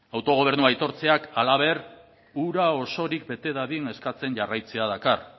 autogobernua aitortzeak halaber hura osorik bete dadin eskatzen jarraitzera dakar